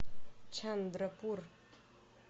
чандрапур